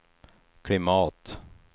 klimat